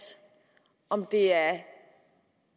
om det er